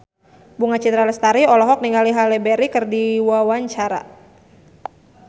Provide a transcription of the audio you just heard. Bunga Citra Lestari olohok ningali Halle Berry keur diwawancara